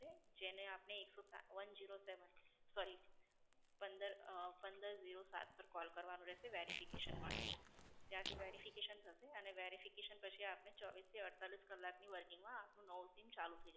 જેને આપને એકસો સાત, one zero seven sorry પંદર અં પંદર zero સાત પર call કરવાનું રહેશે verification માટે. ત્યાંથી verification થસે અને verification પછી આપને ચોવીસ થી અડતાલીસ કલાક ની working માં આપનું નવું SIM ચાલુ થઈ જશે